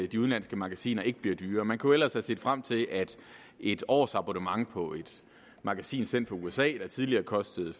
de udenlandske magasiner ikke bliver dyrere man kunne ellers have set frem til at et årsabonnement på et magasin sendt fra usa der tidligere kostede